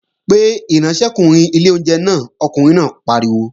Pe ìránṣẹ́kùnrin ilé oúnjẹ náà, ọkùnrin náà pariwo!